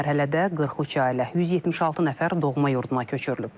Bu mərhələdə 43 ailə, 176 nəfər doğma yurduna köçürülüb.